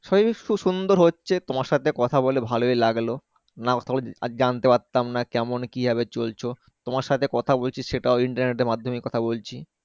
সুন্দর হচ্ছে তোমার সাথে কথা বলে ভালোই লাগল আর জানতে পারতাম না কেমন কি ভাবে চলছো তোমার সাথে কথা বলছি সেটাও Internet এর মাধ্যমেই কথা বলছি।